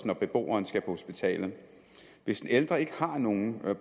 når beboeren skal på hospitalet hvis den ældre ikke har nogen